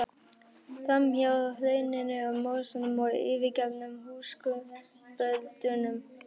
Fram hjá hrauninu, mosanum og yfirgefnum húskumböldunum.